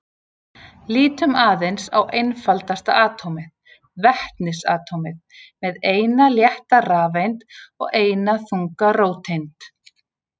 Lítum aðeins á einfaldasta atómið, vetnisatómið með eina létta rafeind og eina þunga róteind.